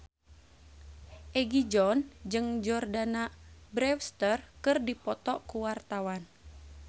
Egi John jeung Jordana Brewster keur dipoto ku wartawan